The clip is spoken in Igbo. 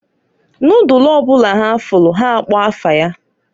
Nodulu ọ bụla ha fụlụ ha akpọọ afa ya.